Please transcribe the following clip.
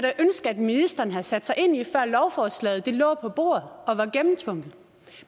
ministeren havde sat sig ind i før lovforslaget lå på bordet og var gennemtvunget